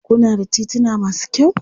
Kuna da tituna masu kyau?